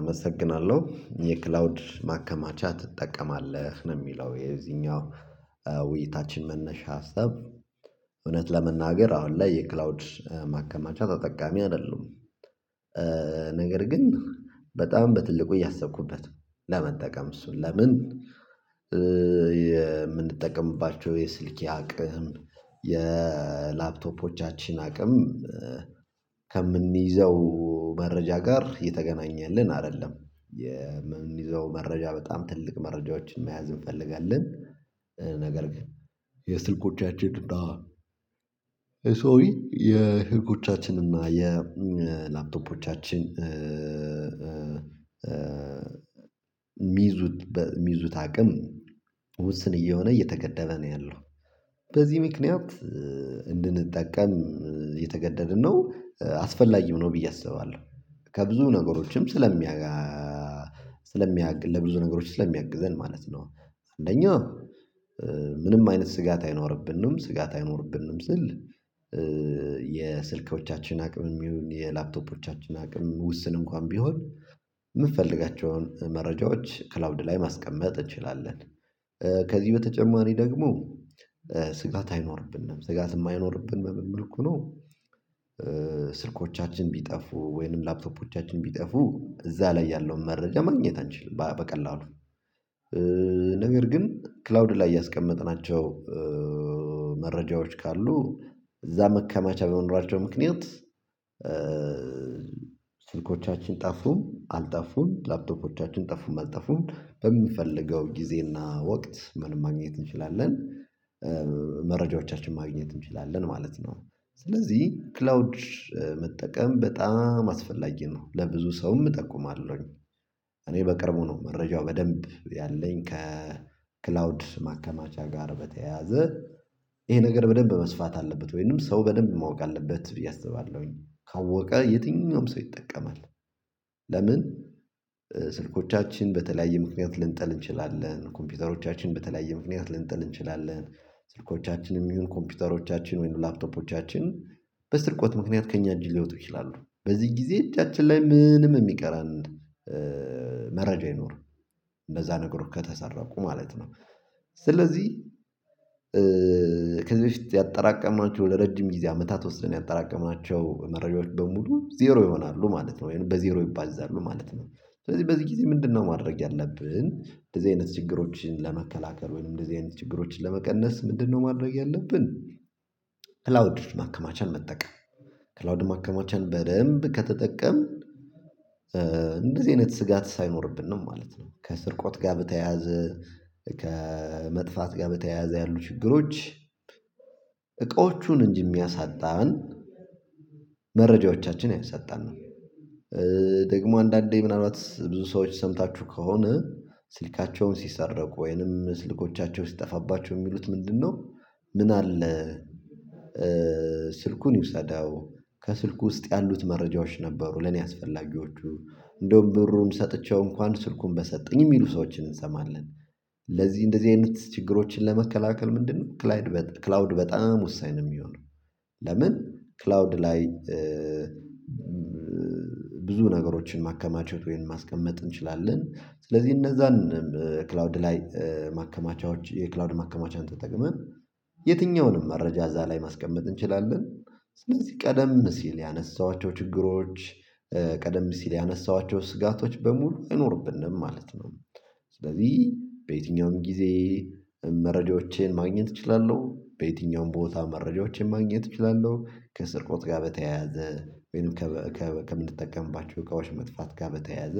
አመሰግናለሁ የክላውድ ማከማቻ ትጠቀማለህ ነው የሚለው የዚኛው ውይይታችን መነሻ ሀሳብ? እውነት ለመናገር አሁን ላይ የክላውድ ማከማቻ ተጠቃሚ አይደሉም። ነገር ግን በጣም በትልቁ እያሰብኩበት ለመጠቀም እሱን ለምን የምንጠቀምባቸው የስልኬ አቅም የላፕቶፖቻችን አቅም። ከምንይዘው መረጃ ጋር የተገናኘልን አይደለም የምንይዘው መረጃ በጣም ትልቅ መረጃዎችን መያዝ እንፈልጋለን። ነገር ግን የስልኮቻችን እና ሶሪ የስልኮቻችን እና የላፕቶፖቻችን ሚዙት ሚዙት አቅም ውስን እየሆነ እየተገደበ ነው ያለው። በዚህ ምክንያት እንድንጠቀም የተገደድን ነው አስፈላጊም ነው ብዬ አስባለሁ። ከብዙ ነገሮችም ስለሚያጋ ለብዙ ነገሮች ስለሚያግዘን ማለት ነው። አንደኛ ምንም አይነት ስጋት አይኖርብንም ስጋት አይኖርብንም ስል። የስልኮቻችን አቅም ይሁን የላፕቶፖቻችንም አቅም ውስን እንኳን ቢሆን የምትፈልጋቸውን መረጃዎች ክላውድ ላይ ማስቀመጥ እንችላለን። ከዚህ በተጨማሪ ደግሞ ስጋት አይኖርብንም ስጋትም ማይኖርብን በምን መልኩ ነው? ስልኮቻችን ቢጠፉ ወይንም ላፕቶፖቻችን ቢጠፉ እዛ ላይ ያለውን መረጃ ማግኘት አንችልም በቀላሉ። ነገር ግን ክላውድ ላይ ያስቀመጥናቸው መረጃዎች ካሉ እዛ መከማቻ በመኖራቸው ምክንያት። ስልኮቻችን ጠፉም አልጠፉም ላፕቶፖቻችን ጠፉም አልጠፉም በሚፈለገው ጊዜና ወቅት ምን ማግኘት እንችላለን መረጃዎቻችን ማግኘት እንችላለን ማለት ነው። ስለዚህ ክላውድ መጠቀም በጣም አስፈላጊ ነው ለብዙ ሰውም እጠቁማለሁኝ። እኔ በቅርቡ ነው መረጃው በደንብ ያለኝ ከክላውድ ማከማቻ ጋር በተያያዘ ይሄ ነገር በደንብ መስፋት አለበት ወይንም ሰው በደንብ ማወቅ አለበት ብዬ አስባለሁኝ ካወቀ የትኛውም ሰው ይጠቀማል። ለምን? ስልኮቻችን በተለያየ ምክንያት ልንጠል እንችላለን ኮምፒውተሮቻችን በተለያየ ምክንያት ልንጠል እንችላለን። ስልኮቻችንም ይሁን ኮምፒውተሮቻችን ወይኑ ላፕቶፖቻችን በስርቆት ምክንያት ከእኛ እንጂ ሊወጡ ይችላሉ በዚህ ጊዜ እጃችን ላይ ምንም የሚቀረን መረጃ አይኖርም። እነዛ ነገሮች ከተሰረቁ ማለት ነው። ስለዚህ ከዚህ በፊት ያጠራቀምናቸው ለረጅም ጊዜ አመታት ወስደን ያጠራቀማቸው መረጃዎች በሙሉ ዜሮ ይሆናሉ ማለት ነው ወይንም በዜሮ ይባዛሉ ማለት ነው። ስለዚህ በዚህ ጊዜ ምንድነው ማድረግ ያለብን እንደዚህ አይነት ችግሮችን ለመከላከል ወይንም እንደዚህ አይነት ችግሮችን ለመቀነስ ምንድነው ማድረግ ያለብን? ክላውድ ማከማቻን መጠቀም። ክላውድ ማከማቻን በደንብ ከተጠቀምን እንደዚህ አይነት ስጋት ሳይኖርብን ነው ማለት ነው። ከስርቆት ጋር በተያያዘ ከመጥፋት ጋር በተያያዘ ያሉ ችግሮች እቃዎቹን እንጂ የሚያሳጣን መረጃዎቻችን አያሳጣንም። ደግሞ አንዳንዴ ምናልባት ብዙ ሰዎች ሰምታችሁ ከሆነ ስልካቸውን ሲሰረቁ ወይንም ስልኮቻቸውን ሲጠፋባቸው የሚሉት ምንድነው? ምን አለ? ስልኩን ይውሰዳው ከስልኩ ውስጥ ያሉት መረጃዎች ነበሩ ለኔ አስፈላጊዎቹ እንደውም ብሩን ሰጥቼው እንኳን ስልኩን በሰጠኝ የሚሉ ሰዎችን እንሰማለን። ለዚህ እንደዚህ አይነት ችግሮችን ለመከላከል ምንድነው? ክላውድ በጣም ወሳኝ ነው የሚሆነው። ለምን ክላውድ ላይ? ብዙ ነገሮችን ማከማቸት ወይም ማስቀመጥ እንችላለን ስለዚህ እነዛን ክላውድ ላይ ማከማቻዎች የክላውድ ማከማቻን ተጠቅመን የትኛውንም መረጃ እዛ ላይ ማስቀመጥ እንችላለን። ስለዚህ ቀደም ሲል ያነሳኋቸው ችግሮች ቀደም ሲል ያነሳኋቸው ስጋቶች በሙሉ አይኖርብንም ማለት ነው። ስለዚህ በየትኛውም ጊዜ መረጃዎቼን ማግኘት እችላለሁ በየትኛውም ቦታ መረጃዎቼን ማግኘት እችላለሁ ከስርቆት ጋር በተያያዘ ወይም ከምንጠቀምባቸው እቃዎች መጥፋት ጋር በተያያዘ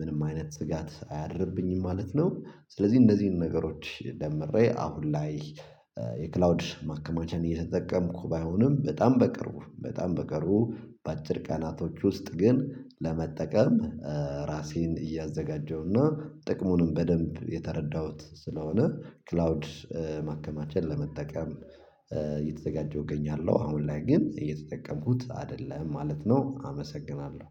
ምንም አይነት ስጋት አያድርብኝም ማለት ነው። ስለዚህ እነዚህን ነገሮች ደምሬ አሁን ላይ የክላውድ ማከማቸን እየተጠቀምኩ ባይሆንም በጣም በቅርቡ በጣም በቅርቡ በአጭር ቀናቶች ውስጥ ግን ለመጠቀም። ራሴን እያዘጋጀሁና ጥቅሙንም በደንብ የተረዳሁት ስለሆነ ክላውድ ማከማቸት ለመጠቀም እየተዘጋጀሁ እገኛለሁ አሁን ላይ ግን እየተጠቀምኩት አይደለም ማለት ነው። አመሰግናለሁ